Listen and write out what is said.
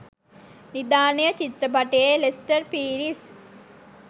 නිධානය චිත්‍රපටයේ ලෙස්ටර් පීරිස්